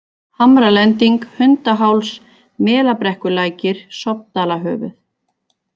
Hamralending, Hundaháls, Melabrekkulækir, Sofndalahöfuð